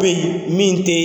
min tɛ